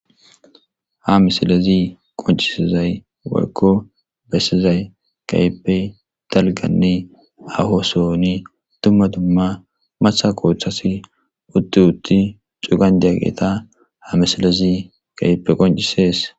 Ha misilezi qoncisizay walko bessizay kayeppe talganne ahosooni tummatumma matha qooththasi utti utti cugan diyaqeeta ha misilezi kayeppe qoncisees